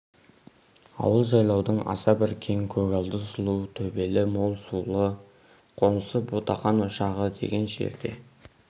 ауыл жайлаудың аса бір кең көгалды сұлу төбелі мол сулы қонысы ботақан ошағы деген жерде